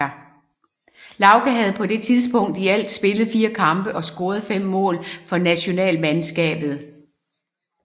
Lauge havde på det tidspunkt i alt spillet 4 kampe og scoret 5 mål for nationalmandskabet